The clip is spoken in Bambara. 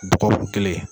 Dɔgɔkun kelen